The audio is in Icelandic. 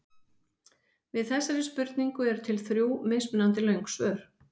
Við þessari spurningu eru til þrjú mismunandi löng svör.